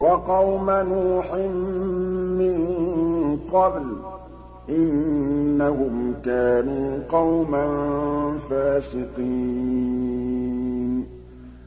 وَقَوْمَ نُوحٍ مِّن قَبْلُ ۖ إِنَّهُمْ كَانُوا قَوْمًا فَاسِقِينَ